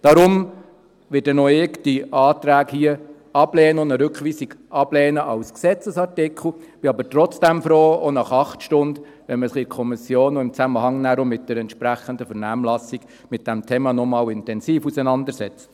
Deshalb werde auch ich diese Anträge hier und eine Rückweisung als Gesetzesartikel ablehnen, bin aber trotzdem froh, auch nach acht Stunden, wenn man sich in der Kommission noch einmal intensiv mit diesem Thema auseinandersetzt, auch nachher im Zusammenhang mit der entsprechenden Vernehmlassung.